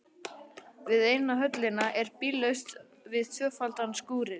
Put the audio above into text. Við eina höllina er bíllaust við tvöfaldan skúrinn.